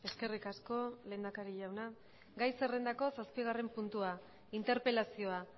eskerrik asko lehendakari jauna gai zerrendako zazpigarren puntua interpelazioa